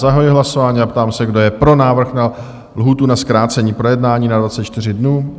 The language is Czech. Zahajuji hlasování a ptám se, kdo je pro návrh na lhůtu na zkrácení projednání na 24 dnů?